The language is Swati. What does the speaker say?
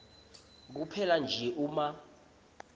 kuphela nje uma